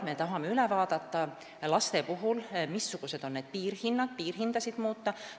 Me tahame üle vaadata, missugused on laste abivahendite piirhinnad ja neid muuta.